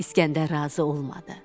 İskəndər razı olmadı.